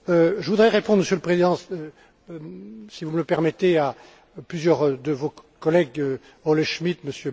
Je voudrais répondre, Monsieur le Président, si vous me le permettez, à plusieurs de vos collègues, Olle Schmidt,